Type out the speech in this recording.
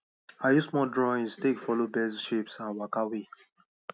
i use small drawings take follow birds shapes and waka way